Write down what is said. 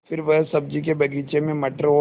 फिर वह सब्ज़ी के बगीचे में मटर और